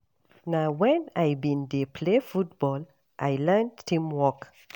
Na wen I bin dey play football I learn teamwork.